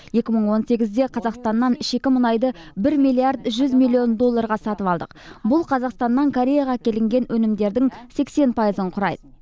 екі мың он сегізде қазақстаннан шикі мұнайды бір миллиард жүз миллион долларға сатып алдық бұл қазақстаннан кореяға әкелінген өнімдердің сексен пайызын құрайды